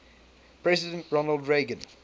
president ronald reagan